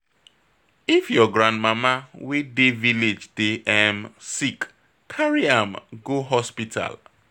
If your grandmama wey dey village dey um sick, carry am go hospital.